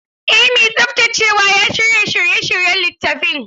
Eh mai tsaftacewa ya shirya shiryayyen littafin.